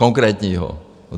Konkrétního.